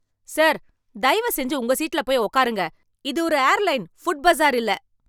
Sir, தயவு செஞ்சு உங்க சீட்ல போய் உட்காருங்க. இது ஒரு ஏர்லைன், புட்பஸார் இல்ல.